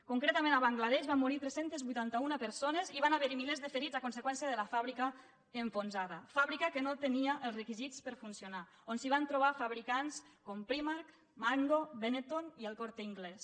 concretament a bangla desh van morir tres cents i vuitanta un persones i van haver hi milers de ferits a conseqüència de la fàbrica enfonsada fàbrica que no tenia els requisits per funcionar on es van trobar fabricants com primark mango benetton i el corte inglés